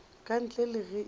ka ntle le ge e